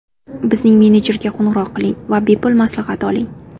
Bizning menejerga qo‘ng‘iroq qiling va bepul maslahat oling!